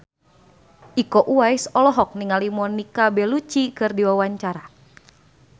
Iko Uwais olohok ningali Monica Belluci keur diwawancara